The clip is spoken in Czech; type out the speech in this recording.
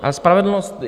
A spravedlnost?